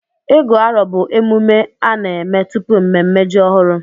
Ịgụ arọ bụ emume a na-eme tupu mmemme ji ọhụrụ.